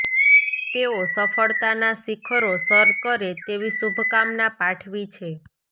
તેઓ સફળતાનાં શિખરો સર કરે તેવી શુભકામના પાઠવી છે